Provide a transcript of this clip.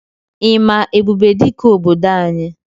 Ị ma Ebubedike obodo anyị?